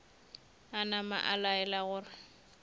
a napa a laela gore